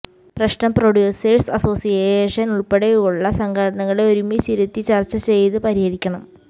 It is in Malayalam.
പ്രശ്നം പ്രൊഡ്യൂസഴ്സ് അസോസിയേഷൻ ഉൾപ്പെടെയുള്ള സംഘടനകളെ ഒരുമിച്ചിരുത്തി ചർച്ച ചെയ്ത് പരിഹരിക്കണം